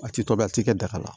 A ti tobi a ti kɛ daga la